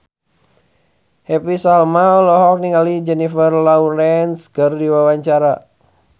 Happy Salma olohok ningali Jennifer Lawrence keur diwawancara